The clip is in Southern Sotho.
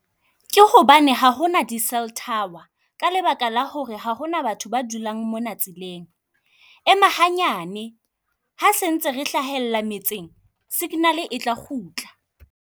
Ke hobane ha ho na di cell tower, ka lebaka la ho re ha ho na batho ba dulang mona tseleng. Ema hanyane, ha sentse re hlahella metseng signal-e e tla kgutla.